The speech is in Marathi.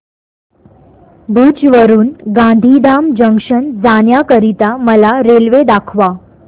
भुज वरून गांधीधाम जंक्शन जाण्या करीता मला रेल्वे दाखवा